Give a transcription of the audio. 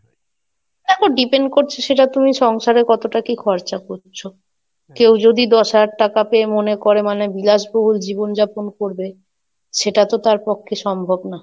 দেখো depend করছে সেটা তুমি সংসারে কতটা কি খরচা করছো কেউ যদি দশ হাজার টাকা পেয়ে মনে করে মানে বিলাসবহুল জীবন যাপন করবে, সেটা তো তার পক্ষে সম্ভব না।